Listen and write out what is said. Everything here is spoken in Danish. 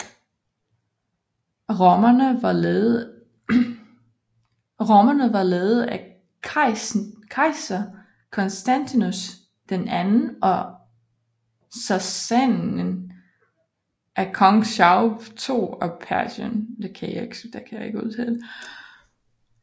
Romerne var ledet af kejser Constantius II og sassaniderne af kong Shapur II af Persien